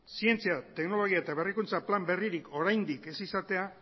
zientzia teknologia eta berrikuntza plan berririk oraindik ez izatea